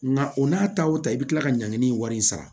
Nka o n'a ta o ta i bɛ kila ka ɲangini wari in sara